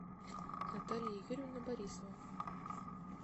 наталья юрьевна борисова